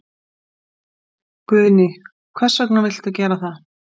Guðný: Hvers vegna viltu gera það?